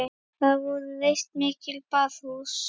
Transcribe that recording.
Þar voru reist mikil baðhús.